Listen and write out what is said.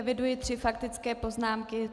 Eviduji tři faktické poznámky.